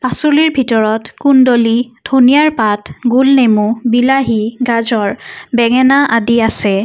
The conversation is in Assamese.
পাচলিৰ ভিতৰত কুণ্ডলি ধুনিয়াৰ পাত গুল নেমু বিলাহী গাজৰ বেঙেনা আদি আছে।